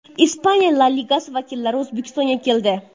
Ispaniya La Ligasi vakillari O‘zbekistonga keldi.